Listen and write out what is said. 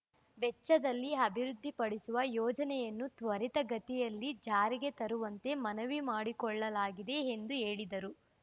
ವೆಚ್ಚದಲ್ಲಿ ಅಭಿವೃದ್ಧಿಪಡಿಸುವ ಯೋಜನೆಯನ್ನು ತ್ವರಿತ ಗತಿಯಲ್ಲಿ ಜಾರಿಗೆ ತರುವಂತೆ ಮನವಿ ಮಾಡಿಕೊಳ್ಳಲಾಗಿದೆ ಎಂದು ಹೇಳಿದರು